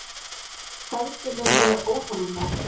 Feðginin eru óþolinmóð.